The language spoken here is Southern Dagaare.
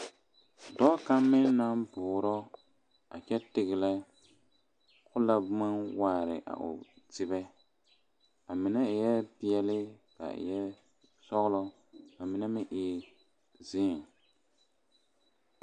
Dɔɔ kaŋ meŋ naŋ bɔɔrɔ a kyɛ tigrɛ ko la boma waare a o tibɛ a mine eɛɛ peɛle a eɛɛ sɔglɔ ka mine meŋ zéé.